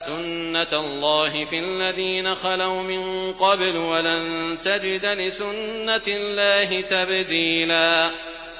سُنَّةَ اللَّهِ فِي الَّذِينَ خَلَوْا مِن قَبْلُ ۖ وَلَن تَجِدَ لِسُنَّةِ اللَّهِ تَبْدِيلًا